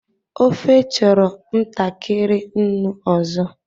Ofe chọrọ ntakịrị nnu ọzọ.